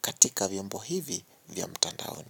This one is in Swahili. katika vyombo hivi vya mtandaoni.